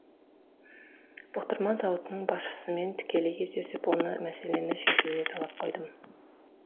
бұқтырма зауытының басшысымен тікелей кездесіп оны мәселені шешуіне талап қойдым